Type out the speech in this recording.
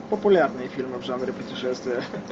популярные фильмы в жанре путешествия